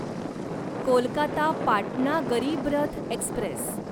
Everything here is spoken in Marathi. कोलकाता पाटणा गरीब रथ एक्स्प्रेस